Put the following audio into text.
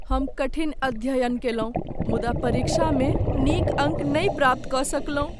हम कठिन अध्ययन कयलहुँ मुदा परीक्षामे नीक अङ्क नहि प्राप्त कऽ सकलहुँ।